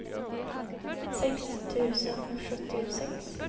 sex tusen sjuttiosex